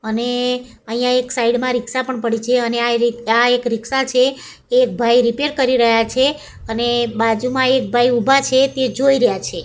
અને અહીંયા એક સાઇડ મા રિક્ષા પણ પડી છે અને આ રિ આ એક રિક્ષા છે એક ભાઈ રીપેર કરી રહ્યા છે અને બાજુમાં એક ભાઈ ઊભા છે તે જોઈ રહ્યા છે.